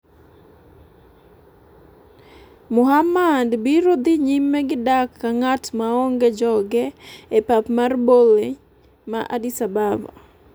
Muhammad biro dhi nyime gi dak ka ng'at maonge joge e pap mar Bole ma Addis Ababa.